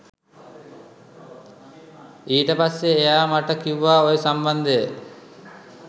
ඊට පස්සේ එයා මට කිව්වා ඔය සම්බන්ධය